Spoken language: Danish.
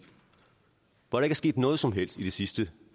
hvor der ikke er sket noget som helst i de sidste